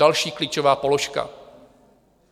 Další klíčové položka.